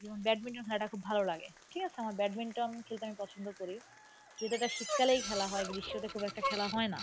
যেমন badminton খেলাটা খুব ভালো লাগে. ঠিক আছে আমার badminton খেলতে আমি পছন্দ করি. কিন্তু এটা শীতকালেই খেলা হয় গ্রীষ্মতে খুব একটা খেলা হয়না.